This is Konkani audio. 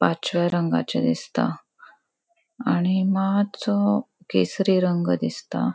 पाचव्या रंगाचे दिसता. आणि मात्सो केसरी रंग दिसता.